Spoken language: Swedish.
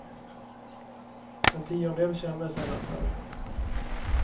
En tiondel känner sällan för det.